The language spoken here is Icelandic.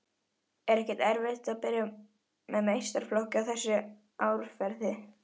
Er ekkert erfitt að byrja með meistaraflokk í þessu árferði?